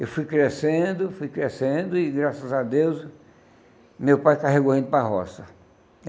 Eu fui crescendo, fui crescendo e, graças a Deus, meu pai carregou indo para a roça.